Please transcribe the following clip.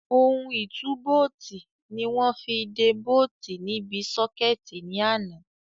Ohun ìtúbóòtì ni wọ́n fi de bóòtì níbi sọ́kẹ̀tì ní àná.